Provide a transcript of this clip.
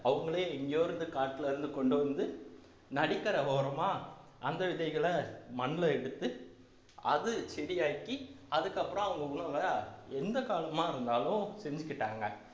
அவங்களே எங்கேயோ இருந்து காட்டிலே இருந்து கொண்டு வந்து நதிகரை ஓரமா அந்த விதைகளை மண்ணிலே எடுத்து அது செடியாக்கி அதுக்கப்புறம் அவங்க உணவை எந்த காலமா இருந்தாலும் செஞ்சுக்கிட்டாங்க